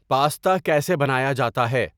pasta کیسے بنایا جاتا ہے